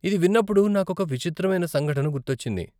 ఇది విన్నప్పుడు నాకొక విచిత్రమైన సంఘటన గుర్తొచ్చింది.